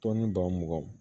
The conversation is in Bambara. Tɔnni baw muganw